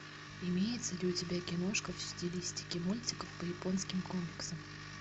имеется ли у тебя киношка в стилистике мультиков по японским комиксам